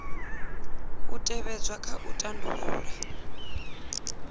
u tevhedzwa kha u tandulula